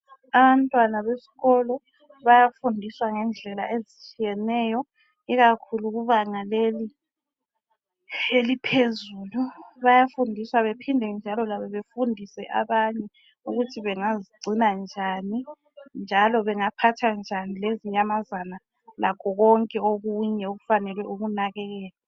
Abantwana besikolo bayafundiswa ngendlela ezitshiyeneyo ikakhulu kubanga leli eliphezulu. Bayafundiswa baphinde njalo bafundise abanye ukuthi bangazigcina njani njalo bengaphatha njani lezinyamazana lakho konke okunye okufanele ukunakekelwa.